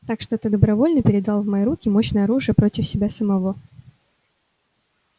так что ты добровольно передал в мои руки мощное оружие против себя самого